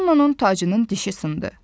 Ronnonun tacının dişi sındı.